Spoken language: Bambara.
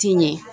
Ti ɲɛ